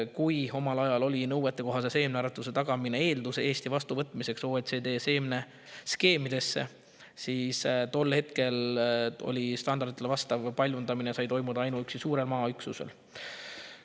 Kuna omal ajal oli nõuetekohase seemnearetuse tagamine eeldus Eesti vastuvõtmiseks OECD seemneskeemidesse, siis tol hetkel sai standarditele vastav paljundamine toimuda ainuüksi suurel maaüksusel.